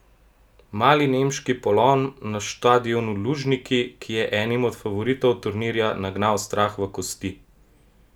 Mali nemški polom na štadionu Lužniki, ki je enim od favoritov turnirja nagnal strah v kosti!